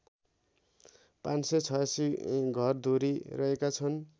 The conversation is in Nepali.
५८६ घरधुरी रहेका छन्